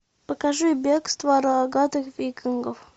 покажи бегство рогатых викингов